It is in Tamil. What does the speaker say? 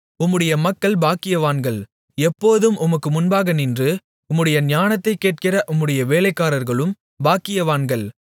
உம்முடைய மக்கள் பாக்கியவான்கள் எப்போதும் உமக்கு முன்பாக நின்று உம்முடைய ஞானத்தைக் கேட்கிற உம்முடைய வேலைக்காரர்களும் பாக்கியவான்கள்